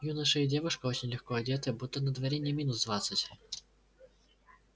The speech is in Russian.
юноша и девушка очень легко одетые будто на дворе не минус двадцать